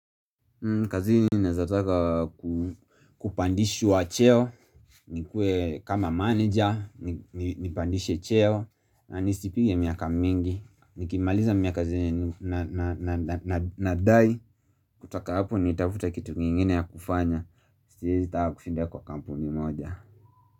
Kazi ni nazataka kupandishwa cheo, nikue kama manager, ni pandishe cheo, na nisi pigi ya miaka mingi Nikimaliza miaka zini nadai, kutoka hapo nitafuta kitu nyingine ya kufanya, siwezi taka kushinda kwa kampuni moja.